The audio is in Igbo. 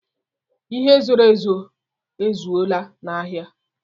Ihe e zoro ezo a zụọla n'ahịa.